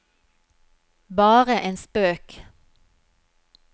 bare en spøk